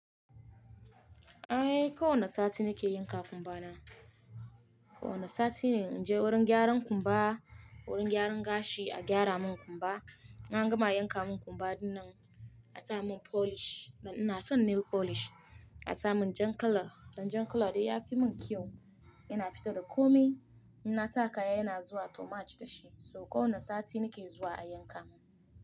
Eh, kowane sati nake yanka kumbana. Kowane sati ne in je wurin gyaran kumba, wurin gyaran gashi a gyara mun kumba. In angama yanka mun kumba dinnan, a sa mun polish. Dan ina son nail polish, a sa mun jan colour. Dan jan colour dai yafi mun kyau, yana fito da komai. Ina sa kaya yana zuwa to match da shi. So kowane sati nake zuwa a yanka mun.